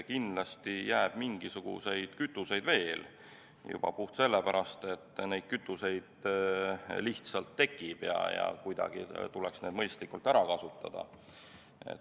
Kindlasti jääb mingisuguseid kütuseid veel juba puhtalt sellepärast, et neid kütuseid lihtsalt tekib ja need tuleks kuidagi mõistlikult ära kasutada.